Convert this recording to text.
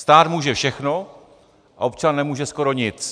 Stát může všechno a občan nemůže skoro nic.